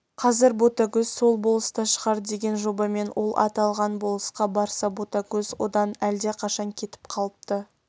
қазір ботагөз сол болыста шығар деген жобамен ол аталған болысқа барса ботагөз одан әлдақашан кетіп қалыпты